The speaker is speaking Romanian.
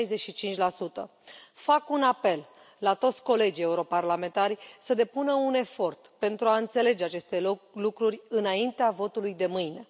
65 Fac un apel la toți colegii europarlamentari să depună un efort pentru a înțelege aceste lucruri înaintea votului de mâine.